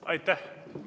Aitäh!